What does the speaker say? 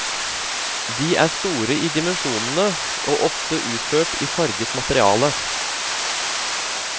De er store i dimensjonene og ofte utført i farget materiale.